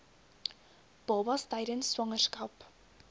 babas tydens swangerskap